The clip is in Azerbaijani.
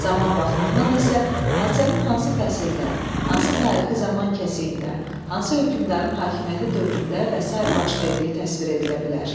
Zaman baxımından isə hadisənin hansı fəsildə, hansı tarixi zaman kəsiyində, hansı hökmdarın hakimiyyəti dövründə və sairə baş verdiyi təsvir edilə bilər.